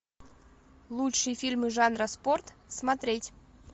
лучшие фильмы жанра спорт смотреть